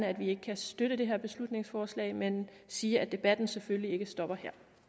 at vi ikke kan støtte det her beslutningsforslag men jeg sige at debatten selvfølgelig ikke stopper